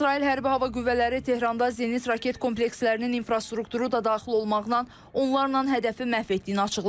İsrail Hərbi Hava Qüvvələri Tehranda Zenit raket komplekslərinin infrastrukturu da daxil olmaqla onlarla hədəfi məhv etdiyini açıqlayıb.